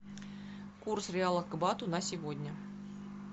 курс реала к бату на сегодня